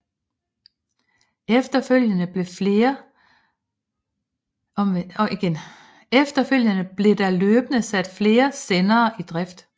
Efterfølgende blev der løbende sat flere sendere i drift